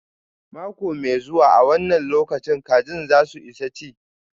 Mako mai zuwa an wanna lokacin kajin za su isa chi.